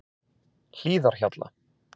Hlíðarhjalla